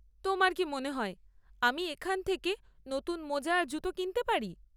তোমার কি মনে হয় আমি এখান থেকে নতুন মোজা আর জুতো কিনতে পারি?